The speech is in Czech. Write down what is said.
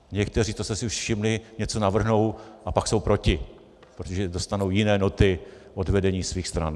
Někteří, to jste si už všimli, něco navrhnou a pak jsou proti, protože dostanou jiné noty od vedení svých stran.